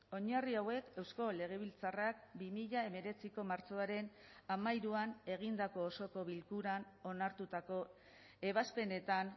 oinarri hauek eusko legebiltzarrak bi mila hemeretziko martxoaren hamairuan egindako osoko bilkuran onartutako ebazpenetan